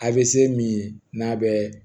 A bɛ se min ye n'a bɛ